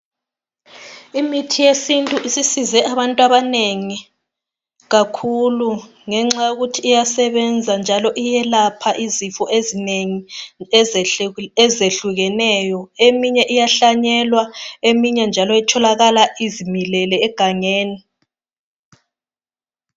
Imithi yesintu isisize abantabanengi kakhulu, ngenxa yokuthi iyelapha izifo ezinengi ezehlukeneyo. Eminye iyahlanyelwa eminye njalo itholakala izimilele egangeni.